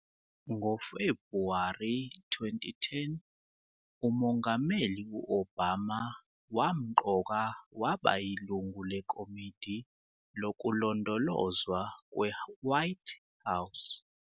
NgoFebhuwari 2010, uMongameli u-Obama wamqoka waba yilungu leKomidi Lokulondolozwa kweWhite House.